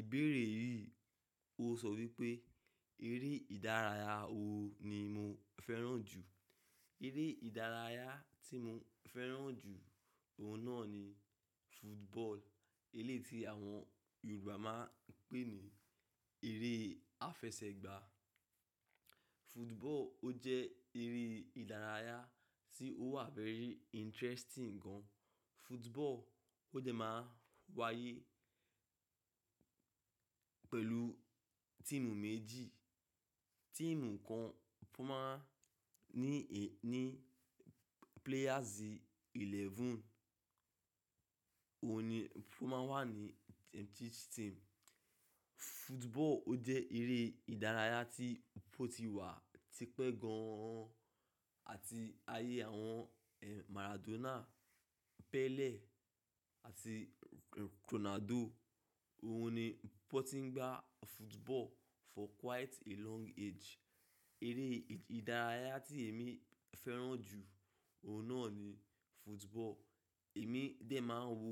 Ìbéèrè yí, o sọ wípé, eré ìdárayá wo ni mo fẹ́ràn jù? Eré ìdárayá tí mo fẹ́ràn jù, òun náà ni football, eléyii tí àwọn Yorùbá máa ń pè ní eré àfẹsẹ̀gbá. Football ó jẹ́ eré ìdárayá tí ó wà very interesting gan. Football ó dẹ́ máa ń wáyé pẹ̀lú tíìmu méjì. Tíìmu kan kó máa ní, ní players eleven. Ohun ni ó máa n wà ní each team. Football ó jẹ́ eré ìdárayá tí ó ti wà tipẹ́ gan an àti ayé àwọn Maradona, Pele àti Ronaldo. Ohun ni wón ti ń gbá football for quite a long age. Eré ìdárayá tí èmi fẹ́ràn jù, òun náà ni football. Èmi dẹ̀ máa ń wo